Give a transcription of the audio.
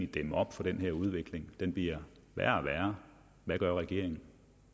dæmme op for den her udvikling som bliver værre og værre hvad gør regeringen